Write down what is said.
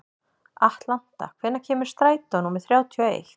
Atlanta, hvenær kemur strætó númer þrjátíu og eitt?